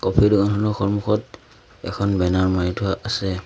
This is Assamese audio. এই দোকানখনৰ সন্মুখত এখন বেনাৰ মাৰি থোৱা আছে।